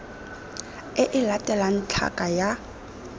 e e latelang tlhaka ya